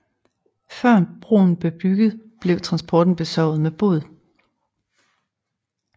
Før broen blev bygget blev transporten besørget med båd